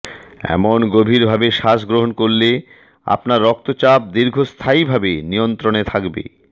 এমন গভীরভাবে শ্বাসগ্রহণ করলে আপনার রক্তচাপ দীর্ঘস্থায়ীভাবে নিয়ন্ত্রণে থাকবে